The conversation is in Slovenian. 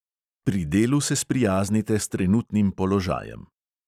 Pri delu se sprijaznite s trenutnim položajem.